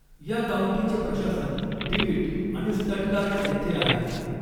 या काउंटीचे प्रशासन डिविट आणि स्टटगार्ट येथे आहेत.